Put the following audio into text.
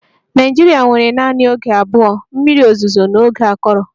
Nigeria nwere naanị oge abụọ, mmiri ozuzo na oge akọrọ